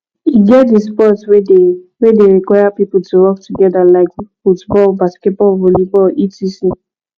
e get di sport wey de wey de require pipo to work together like football basketball volleyball etc